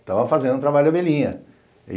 Estava fazendo um trabalho de abelhinha.